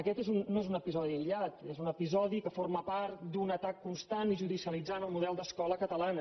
aquest no és un episodi aïllat és un episodi que forma part d’un atac constant i judicialitzant el model d’escola catalana